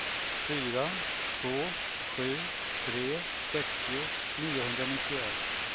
fyra två sju tre sextio niohundranittioett